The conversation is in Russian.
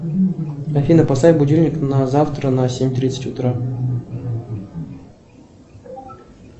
афина поставь будильник на завтра на семь тридцать утра